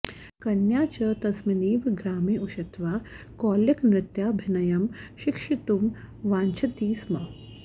कन्या च तस्मिन्नेव ग्रामे उषित्वा कौलिकनृत्याभिनयं शिक्षितुं वाञ्छति स्म